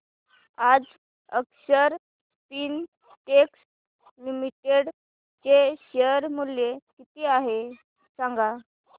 आज Akshar Spintex limited चे share मूल्य किती आहे सांगा